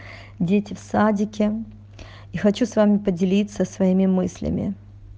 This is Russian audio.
дети в садике и хочу с вами поделиться своими мыслями